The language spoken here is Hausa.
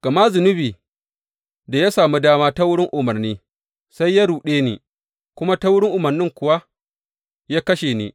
Gama zunubi, da ya sami dama ta wurin umarni, sai ya ruɗe ni, kuma ta wurin umarnin kuwa ya kashe ni.